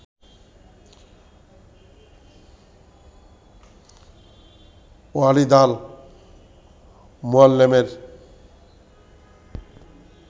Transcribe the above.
Walid al মুয়াল্লেমের